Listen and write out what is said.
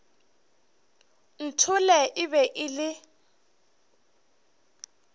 nthole e be e le